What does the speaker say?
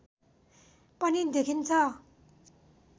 पनि देखिन्छ